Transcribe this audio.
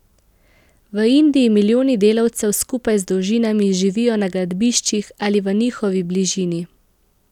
V Indiji milijoni delavcev skupaj z družinami živijo na gradbiščih ali v njihovi bližini.